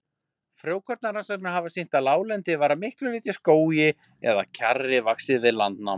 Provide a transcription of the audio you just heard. Frjókornarannsóknir hafa sýnt að láglendi var að miklu leyti skógi eða kjarri vaxið við landnám.